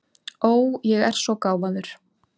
Ó, ég er svo gáfaður.